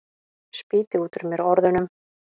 Spýti út úr mér orðunum.